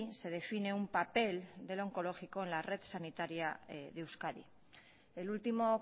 se define un papel del oncológico en la red sanitaria de euskadi el último